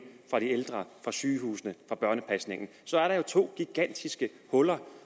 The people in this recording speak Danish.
fra de ældre fra sygehusene fra børnepasningen så er der jo to gigantiske huller